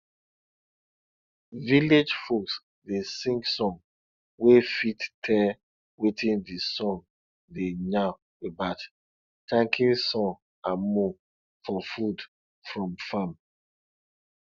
village folks dey sing song wey fit tell wetin d song dey yarn about thanking sun and moon for food from farm